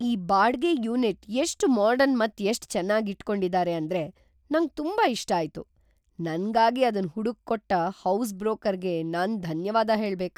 ಈ ಬಾಡ್ಗೆ ಯೂನಿಟ್ ಎಷ್ಟ್ ಮಾಡರ್ನ್ ಮತ್ ಎಷ್ಟ್ ಚೆನ್ನಾಗಿ ಇಟ್ ಕೊಂಡಿದ್ದಾರೆ ಅಂದ್ರೆ ನಂಗ್ ತುಂಬಾ ಇಷ್ಟ ಆಯ್ತು. ನನ್ಗಾಗಿ ಅದನ್ ಹುಡುಕ್ ಕೊಟ್ಟ ಹೌಸ್ ಬ್ರೋಕರ್‌ಗೆ ನಾನ್ ಧನ್ಯವಾದ್ ಹೇಳ್ಬೇಕ್.